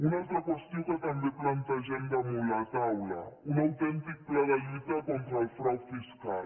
una altra qüestió que també plantegem damunt la taula un autèntic pla de lluita contra el frau fiscal